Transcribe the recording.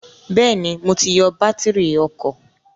Bẹ́ẹ̀ni, mo ti yọ bátírì ọkọ̀